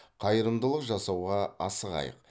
қайырымдылық жасауға асығайық